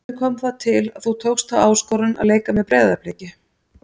Hvernig kom það til að þú tókst þá áskorun að leika með Breiðabliki?